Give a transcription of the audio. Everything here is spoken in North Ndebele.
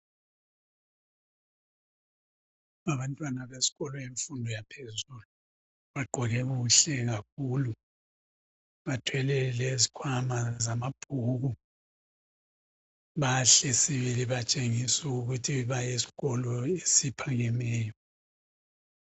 Abantwana besikolo semfundo yaphezulu bagqoke kuhle kakhulu bathwele lezikhwama zamabhuku, bahle sibili batshengisa ukuthi bayesikolo esiphakemeyo.